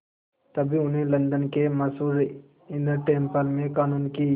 तभी उन्हें लंदन के मशहूर इनर टेम्पल में क़ानून की